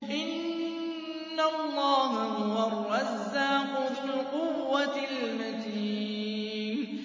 إِنَّ اللَّهَ هُوَ الرَّزَّاقُ ذُو الْقُوَّةِ الْمَتِينُ